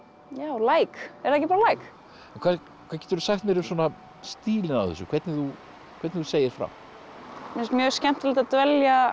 like er það ekki bara like hvað geturðu sagt mér um stílinn á þessu hvernig þú segir frá mér finnst mjög skemmtilegt að dvelja